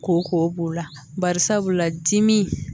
Kɔkɔ b'u la bari sabula dimi